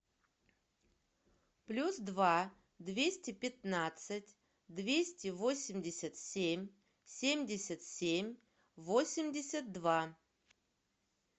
плюс два двести пятнадцать двести восемьдесят семь семьдесят семь восемьдесят два